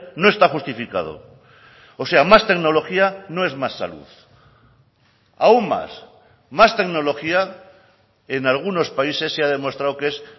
no está justificado o sea más tecnología no es más salud aún más más tecnología en algunos países se ha demostrado que es